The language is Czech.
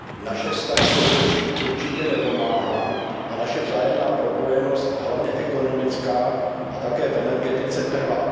Naše vztahy to zlepšit určitě nepomáhá a naše vzájemná propojenost, hlavně ekonomická a v energetice, trvá.